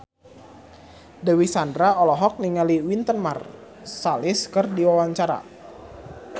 Dewi Sandra olohok ningali Wynton Marsalis keur diwawancara